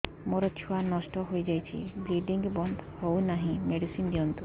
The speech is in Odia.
ମୋର ଛୁଆ ନଷ୍ଟ ହୋଇଯାଇଛି ବ୍ଲିଡ଼ିଙ୍ଗ ବନ୍ଦ ହଉନାହିଁ ମେଡିସିନ ଦିଅନ୍ତୁ